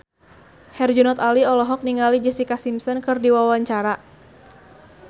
Herjunot Ali olohok ningali Jessica Simpson keur diwawancara